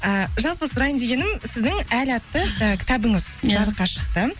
а жалпы сұрайын дегенім сіздің әл атты кітабыңыз ия жарыққа шықты